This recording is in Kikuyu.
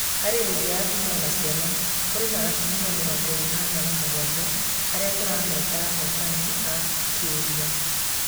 Harĩ ingĩ ya atumia na ciana, kũrĩ na tumia mĩrongo ĩnana na mũgwanja arĩa tũrameta ahotani a-kĩrĩu